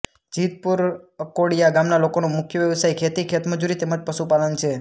જીતપુર અકોડીયા ગામના લોકોનો મુખ્ય વ્યવસાય ખેતી ખેતમજૂરી તેમ જ પશુપાલન છે